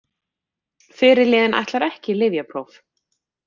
Fyrirliðinn ætlar ekki í lyfjapróf